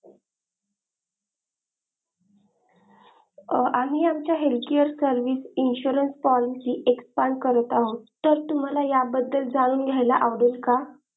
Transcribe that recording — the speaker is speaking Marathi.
अ आम्ही आमच्या health care service insurance policy expand करत आहो तर तुम्हाला या बद्दल जाणून घ्यायला आवडेल का?